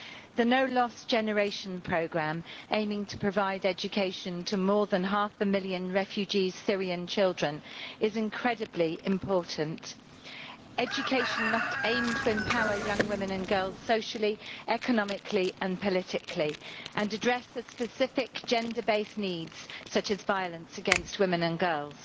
The No Lost Generation programme, aiming to provide education to more than half a million Syrian refugee children, is incredibly important. Education must aim to empower young women and girls socially, economically and politically, and address specific gender based needs such as violence against women and girls.